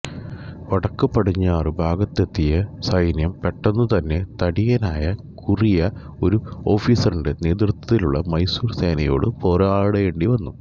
വടക്കുപടിഞ്ഞാറു ഭാഗത്തെത്തിയ സൈന്യം പെട്ടെന്നുതന്നെ തടിയനായ കുറിയ ഒരു ഓഫീസറിന്റെ നേതൃത്ത്വത്തിലുള്ള മൈസൂർ സേനയോടു പോരാടേണ്ടിവന്നു